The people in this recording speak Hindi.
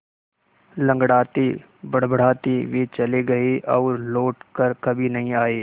लँगड़ाते बड़बड़ाते वे चले गए और लौट कर कभी नहीं आए